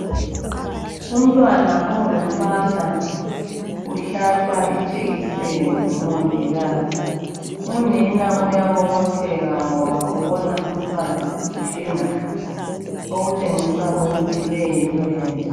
Umntwana ongumfana uhlatshwa ijekiseni ngumongikazi unina uyabobotheka ngoba ubona umntwana wakhe engakhali okutshengisa ukuthi le yinto enhle